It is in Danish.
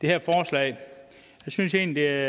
jeg synes egentlig at